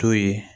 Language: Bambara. To ye